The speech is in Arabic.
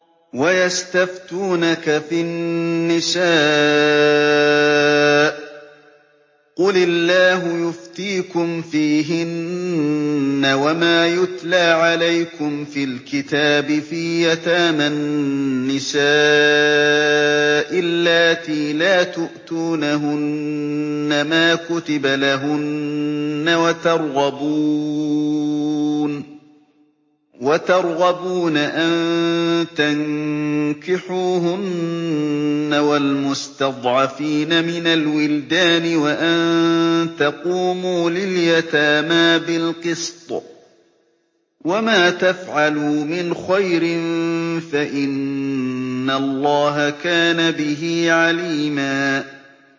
وَيَسْتَفْتُونَكَ فِي النِّسَاءِ ۖ قُلِ اللَّهُ يُفْتِيكُمْ فِيهِنَّ وَمَا يُتْلَىٰ عَلَيْكُمْ فِي الْكِتَابِ فِي يَتَامَى النِّسَاءِ اللَّاتِي لَا تُؤْتُونَهُنَّ مَا كُتِبَ لَهُنَّ وَتَرْغَبُونَ أَن تَنكِحُوهُنَّ وَالْمُسْتَضْعَفِينَ مِنَ الْوِلْدَانِ وَأَن تَقُومُوا لِلْيَتَامَىٰ بِالْقِسْطِ ۚ وَمَا تَفْعَلُوا مِنْ خَيْرٍ فَإِنَّ اللَّهَ كَانَ بِهِ عَلِيمًا